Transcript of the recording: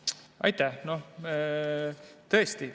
Aitäh!